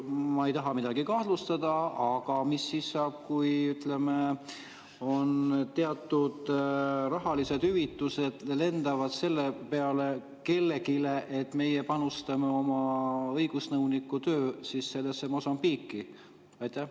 Ma ei taha midagi kahtlustada, aga mis siis saab, kui teatud rahalised hüvitised lendavad kellelegi selle peale, et meie panustame oma õigusnõuniku töö Mosambiiki?